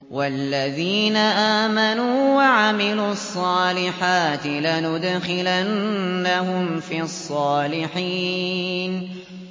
وَالَّذِينَ آمَنُوا وَعَمِلُوا الصَّالِحَاتِ لَنُدْخِلَنَّهُمْ فِي الصَّالِحِينَ